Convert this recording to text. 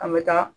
An bɛ taa